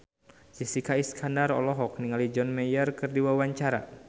Jessica Iskandar olohok ningali John Mayer keur diwawancara